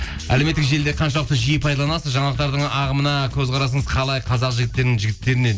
әлеуметтік желіде қаншалықты жиі пайдаланасыз жаңалықтардың ағымына көзқарасыңыз қалай қазақ жігітттеріне